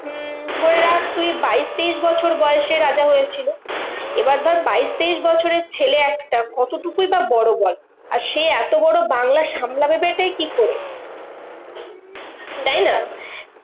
উম ধরে রাখ তুই বাইশ তেইশ বছর বয়সে রাজা হয়েছিল। এবার ধর বাইশ তেইশ বছরের ছেলে একটা কতটুকুই বা বড় বল? আর সে এত বড় বাংলা সামলাবেই টা কি করে? তাইনা?